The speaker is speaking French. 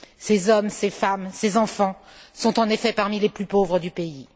Ces hommes, ces femmes, ces enfants sont, en effet, parmi les plus pauvres du pays.